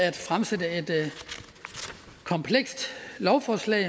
at fremsætte et komplekst lovforslag